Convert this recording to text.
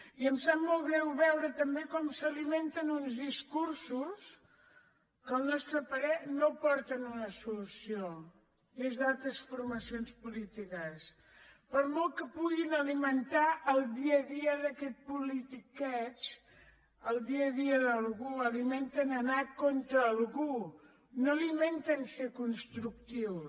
i em sap molt greu veure també com s’alimenten uns discursos que al nostre parer no aporten una solució des d’altres formacions polítiques per molt que puguin alimentar el dia a dia d’aquest politiqueig el dia a dia d’algú alimenten anar contra algú no alimenten ser constructius